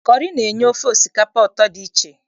Kọrị na-enye ofe osikapa ụtọ dị iche.